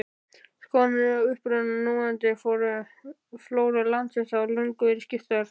Skoðanir á uppruna núverandi flóru landsins hafa löngum verið skiptar.